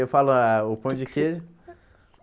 Eu falo ah o pão de queijo.